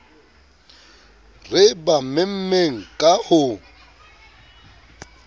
re ba memmeng ka ho